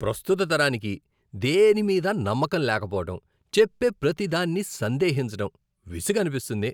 ప్రస్తుత తరానికి దేనిమీదా నమ్మకం లేకపోవడం, చెప్పే ప్రతిదాన్ని సందేహించటం విసుగనిపిస్తుంది.